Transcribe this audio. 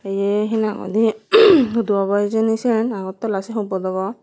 ye hee nang hoide hudu obo hijeni siyen agartala siyen hubot obo.